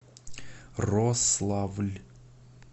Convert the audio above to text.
рославль